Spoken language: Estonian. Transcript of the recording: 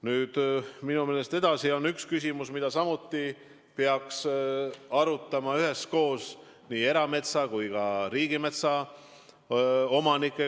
Nüüd, minu meelest on veel üks küsimus, mida peaks samuti arutama koos era- ja riigimetsa omanikega.